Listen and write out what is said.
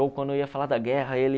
Ou quando ia falar da guerra, ele...